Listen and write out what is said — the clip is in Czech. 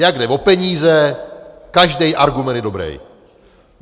Jak jde o peníze, každej argument je dobrej.